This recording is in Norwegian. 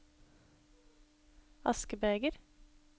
askebeger